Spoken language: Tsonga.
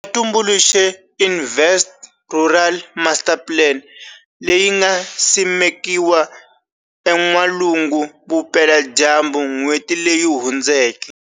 Va tumbuluxile Invest Rural Masterplan, leyi nga simekiwa eN'walungu vupela dyambu n'hweti leyi hundzeke.